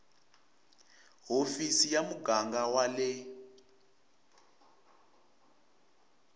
hofisi ya muganga wa le